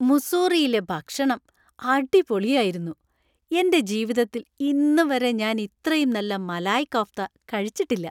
മുസ്സൂറിയിലെ ഭക്ഷണം അടിപൊളിയായിരുന്നു . എന്‍റെ ജീവിതത്തിൽ ഇന്നുവരെ ഞാൻ ഇത്രയും നല്ല മലായ് കോഫ്ത കഴിച്ചിട്ടില്ല.